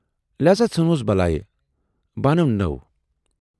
لہذا ژٕھنۍہوٗس بلاے، بہٕ اَنہٕ نٔو۔